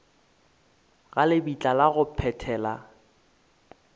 ga lebitla la go phethela